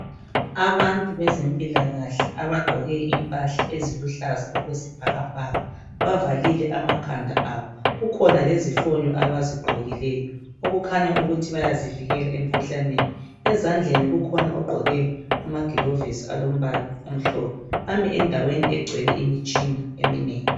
Abantu bezempilakahle abagqoke impahla eziluhlaza okwesibhakabhaka. Bavalile amakhanda abo, kukhona lezifonyo abazigqokileyo okukhanya ukuthi bayazivikela emkhuhlaneni, ezandleni kukhona ogqoke amagilovisi alombala omhlophe bami endaweni egcwele imitshina eminengi.